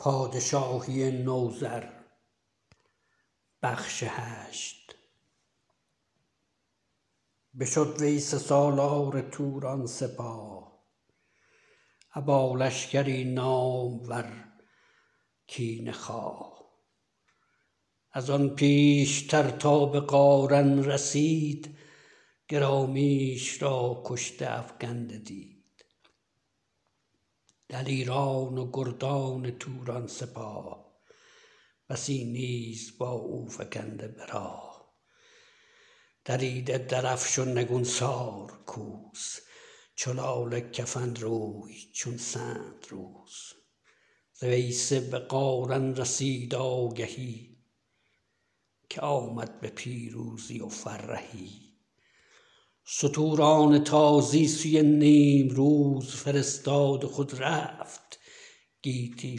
بشد ویسه سالار توران سپاه ابا لشکری نامور کینه خواه ازان پیشتر تابه قارن رسید گرامیش را کشته افگنده دید دلیران و گردان توران سپاه بسی نیز با او فگنده به راه دریده درفش و نگونسار کوس چو لاله کفن روی چون سندروس ز ویسه به قارن رسید آگهی که آمد به پیروزی و فرهی ستوران تازی سوی نیمروز فرستاد و خود رفت گیتی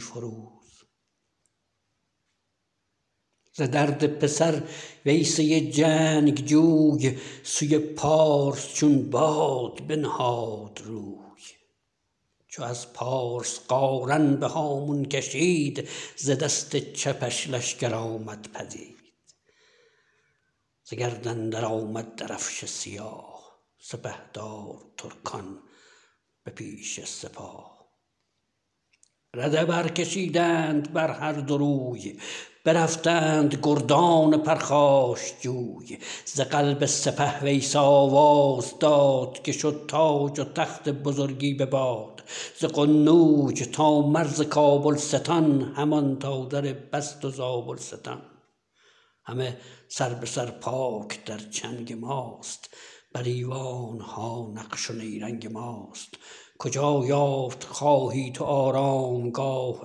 فروز ز درد پسر ویسه جنگجوی سوی پارس چون باد بنهاد روی چو از پارس قارن به هامون کشید ز دست چپش لشکر آمد پدید ز گرد اندر آمد درفش سیاه سپهدار ترکان به پیش سپاه رده برکشیدند بر هر دو روی برفتند گردان پرخاشجوی ز قلب سپه ویسه آواز داد که شد تاج و تخت بزرگی به باد ز قنوج تا مرز کابلستان همان تا در بست و زابلستان همه سر به سر پاک در چنگ ماست بر ایوانها نقش و نیرنگ ماست کجا یافت خواهی تو آرامگاه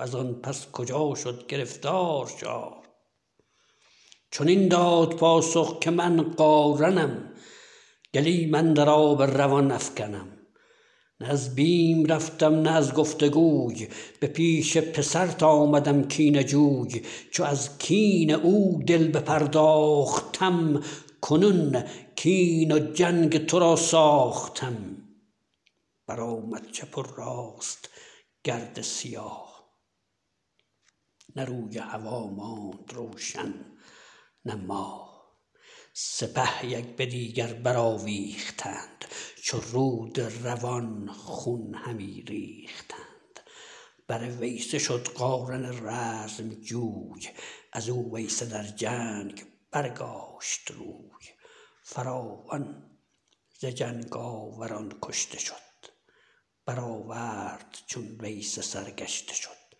ازان پس کجا شد گرفتار شاه چنین داد پاسخ که من قارنم گلیم اندر آب روان افگنم نه از بیم رفتم نه از گفت وگوی به پیش پسرت آمدم کینه جوی چو از کین او دل بپرداختم کنون کین و جنگ ترا ساختم برآمد چپ و راست گرد سیاه نه روی هوا ماند روشن نه ماه سپه یک به دیگر برآویختند چو رود روان خون همی ریختند بر ویسه شد قارن رزم جوی ازو ویسه در جنگ برگاشت روی فراوان ز جنگ آوران کشته شد بآورد چون ویسه سرگشته شد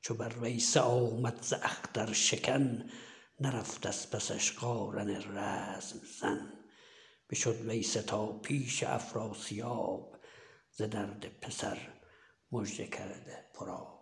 چو بر ویسه آمد ز اختر شکن نرفت از پسش قارن رزم زن بشد ویسه تا پیش افراسیاب ز درد پسر مژه کرده پرآب